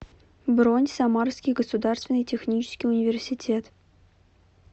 бронь самарский государственный технический университет